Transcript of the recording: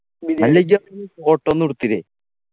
അല്ല ഇജ്ജ് അവിടെന്നു photo ഒന്നും എടുത്തില്ലേ